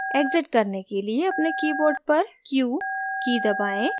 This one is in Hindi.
exit करने के लिए अपने keyboard पर q की दबाएँ